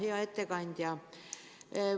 Hea ettekandja!